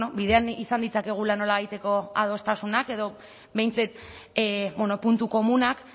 bidean izan ditzakegula nolabaiteko adostasunak edo behintzat puntu komunak